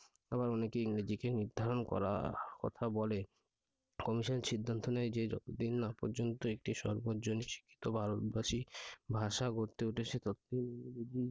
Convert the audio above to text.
আবার অনেকে ইংরেজিকে নির্ধারণ করার কথা বলে commission সিদ্ধান্ত নেয় যে যতদিন না পর্যন্ত একটি সর্বজনীন শিক্ষিত ভারতবাসী ভাষা গড়তে উঠেছে ততোদিন